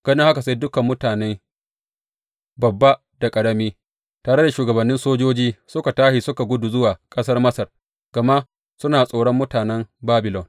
Ganin haka sai dukan mutane, babba da ƙarami, tare da shugabannin sojoji, suka tashi suka gudu zuwa ƙasar Masar, gama suna tsoron mutanen Babilon.